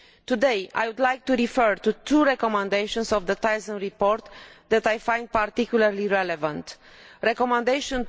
Today I would like to refer to two recommendations in the Thyssen report that I find particularly relevant recommendation